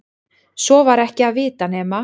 Svo var ekki að vita nema